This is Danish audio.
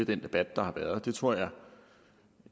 den debat der har været og det tror